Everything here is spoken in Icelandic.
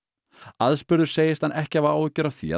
aðspurður segist hann ekki hafa áhyggjur af því að